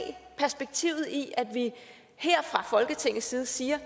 perspektivet i at vi her fra folketingets side siger